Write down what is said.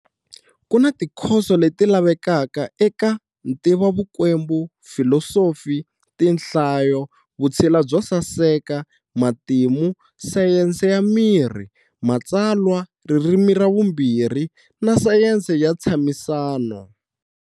Ku na tikhoso leti lavekaka eka-Ntivovukwembu, Filosofi, Tinhlayo, Vutshila byo saseka, Matimu, Sayense ya Miri, Matsalwa, Ririmi ra Vumbirhi, na Sayense ya Ntshamisano.